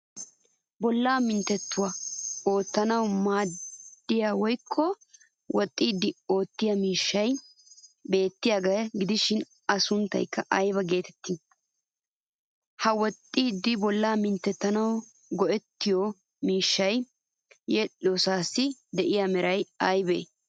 Bollaa minttettuwaa oottanawu maaddiya woykko woxxiiddi oottiyo miishshay beettiyaagaa gidishin a sunttaykka aybaa geettettii? Ha woxxiiddi bollaa minttettanawu qo'ettiyoo miishshaassi yedhdhiyoosaassi de'iya meray aybee?